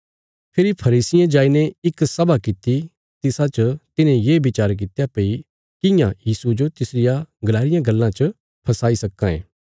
फेरी फरीसियें जाईने इक सभा किति तिसा च तिन्हे ये विचार कित्या भई कियां यीशुये जो तिसरिया गलाई रियां गल्लां च फसाई सक्कां ये